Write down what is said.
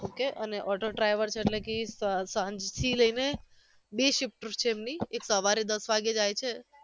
ok અને auto driver છે એટલે કે સા સાંજ થી લઈને બે shift છે એમની સવારે દસ વાગે જાય છે